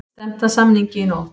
Stefnt að samningi í nótt